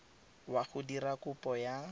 wa go dira kopo ya